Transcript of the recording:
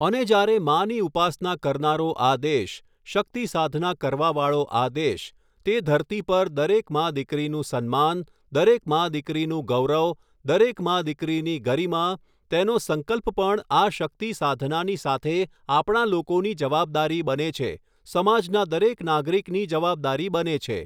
અને જ્યારે માની ઉપાસના કરનારો આ દેશ, શક્તિ સાધના કરવાવાળો આ દેશ, તે ધરતી પર દરેક મા દીકરીનું સન્માન, દરેક મા દીકરીનું ગૌરવ, દરેક મા દીકરીની ગરિમા, તેનો સંકલ્પ પણ આ શક્તિ સાધનાની સાથે આપણા લોકોની જવાબદારી બને છે સમાજના દરેક નાગરિકની જવાબદારી બને છે.